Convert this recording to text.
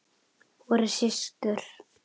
Vorum systur.